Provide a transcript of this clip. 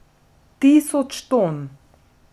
Tisoč ton!